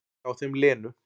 Hjá þeim Lenu.